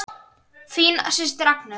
Þín systir Agnes.